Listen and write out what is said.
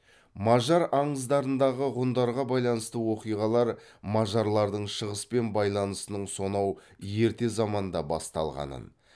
мажар аңыздарындағы ғұндарға байланысты оқиғалар мажарлардың шығыспен байланысының сонау ерте заманда басталғанын